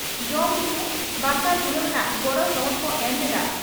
ᱧᱩ ᱵᱟᱥᱟ ᱡᱤᱨᱟᱹᱣ ᱨᱮᱱᱟᱜ ᱜᱚᱲᱚ ᱥᱚᱦᱚᱫ ᱠᱚ ᱮᱢ ᱞᱮᱫᱼᱟ